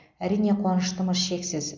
әрине қуаныштымыз шексіз